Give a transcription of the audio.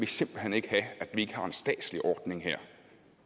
simpelt hen ikke have at man ikke har en statslig ordning her